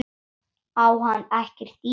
Á hann ekkert í mér?